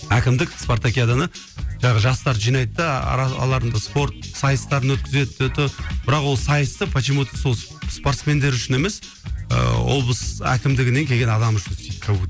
әкімдік спартакиаданы жаңағы жастарды жинайды да араларында спорт сайыстарын бірақ ол сайысты почему то сол спортсмендер үшін емес ыыы облыс әкімдігінен келген адам үшін істейді как будто